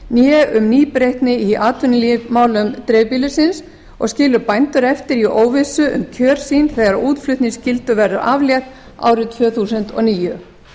né um nýbreytni í atvinnulífsmálum dreifbýlisins og skila bændur eftir í óvissu um kjör sin þegar útflutningsskyldu verður aflétt ári tvö þúsund og níu